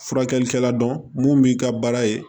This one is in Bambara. Furakɛlikɛla dɔn mun b'i ka baara ye